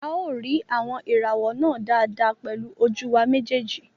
A ó rí àwọn ìràwọ̀ náà dáadáa pẹ̀lú ojú wa méjèèjì